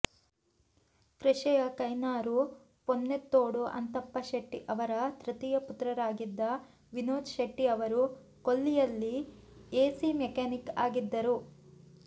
ಕೃಷಿಕ ಕಯ್ನಾರು ಪೊನ್ನೆತ್ತೋಡು ಅಂತಪ್ಪ ಶೆಟ್ಟಿ ಅವರ ತೃತೀಯ ಪುತ್ರರಾಗಿದ್ದ ವಿನೋದ್ ಶೆಟ್ಟಿ ಅವರು ಕೊಲ್ಲಿಯಲ್ಲಿ ಎಸಿ ಮೆಕ್ಯಾನಿಕ್ ಆಗಿದ್ದರು